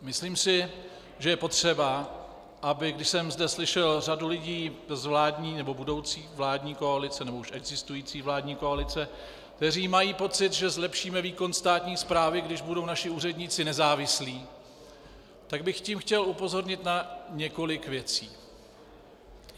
Myslím si, že je potřeba, aby když jsem zde slyšel řadu lidí z vládní nebo budoucí vládní koalice, nebo už existující vládní koalice, kteří mají pocit, že zlepšíme výkon státní správy, když budou naši úředníci nezávislí, tak bych tím chtěl upozornit na několik věcí.